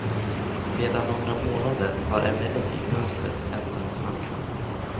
Sedan några månader har emellertid mönstret ändrats markant.